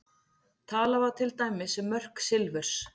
Talað var til dæmis um mörk silfurs.